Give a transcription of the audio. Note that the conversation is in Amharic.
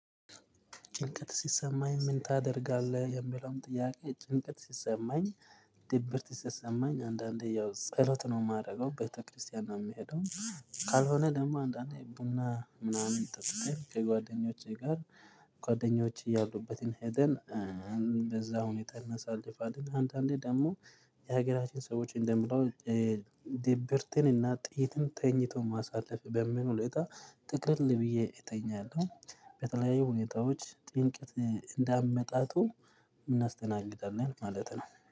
"ጭንቀት ሲሰማኝ ምን ታደርጋለህ?" የሚለውን ጥያቄ፤ ጭንቀት ሲሰማኝ ድብርት ሲሰማኝ አንዳንዴ ያው ጸሎት ነው የማደርገው። ቤተክርስቲያን ነው የምሄደው። ካልሆነ ደግሞ አንዳንዴ ቡና ምናምን ጠጥቴ ከጓደኞቼ ጋር ጓደኞቼ ያሉበትን ሄደን በዛ ሁኔታ እናሳልፋለን። አንዳንዴ ደግሞ የሀገራችን ሰዎች እንደሚለው ድብርትን እና ጥይትን ተኝቶ ማሳለፍ በሚል ሁኔታ ጥቅልል ብዬ እተኛለሁ። በተለያዩ ሁኔታዎች ጥንቀት እንዳመጣጡ እናስተናግዳለን ማለት ነው።